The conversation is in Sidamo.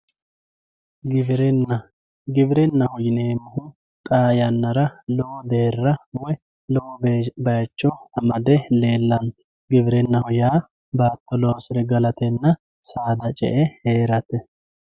Giwirinna, giwirinaho yineemohu xaa yanara lowo deera woyi lowo bayicho amade leelano giwirinaho yaa baato loosire galatenna saada ce'e heerate.